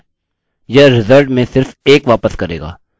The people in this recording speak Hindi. यह result में सिर्फ 1 वापस करेगा